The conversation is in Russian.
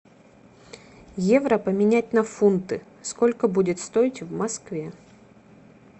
евро поменять на фунты сколько будет стоить в москве